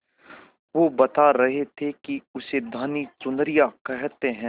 वो बता रहे थे कि उसे धानी चुनरिया कहते हैं